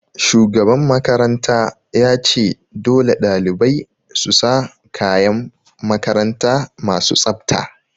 Shugaban makaranta ya ce 'Dole ɗalibai su sa kayan makaranta masu tsafta'!